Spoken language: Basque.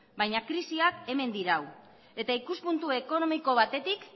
baina krisiak hemen dirau eta ikuspuntu ekonomiko batetik